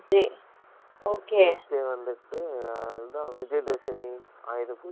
tuesday வந்துட்டு வந்து விஜய தசமி அயுத பூஜா வர்து இல்லயா